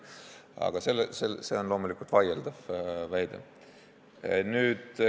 Aga see on loomulikult vaieldav väide.